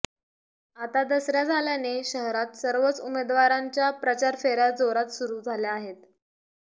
आता दसरा झाल्याने शहरात सर्वच उमेदवारांच्या प्रचारफेऱ्या जोरात सुरू झाल्या आहेत